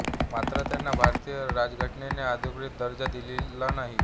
मात्र त्यांना भारतीय राज्यघटनेने अधिकृत दर्जा दिलेला नाही